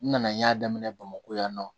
N nana n y'a daminɛ bamakɔ yan nɔ